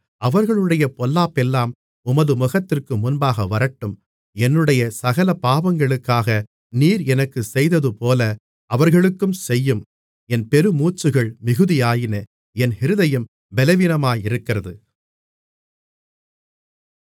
அவர்களுடைய பொல்லாப்பெல்லாம் உமது முகத்திற்கு முன்பாக வரட்டும் என்னுடைய சகல பாவங்களுக்காக நீர் எனக்குச் செய்ததுபோல அவர்களுக்கும் செய்யும் என் பெருமூச்சுகள் மிகுதியாயின என் இருதயம் பலவீனமாயிருக்கிறது